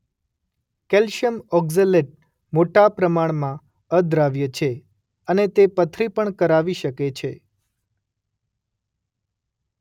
Calcium oxalate મોટા પ્રમાણમાં અદ્રાવ્ય છે અને તે પથરી પણ કરાવી શકે છે.